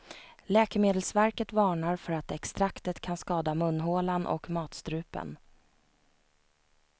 Läkemedelsverket varnar för att extraktet kan skada munhålan och matstrupen.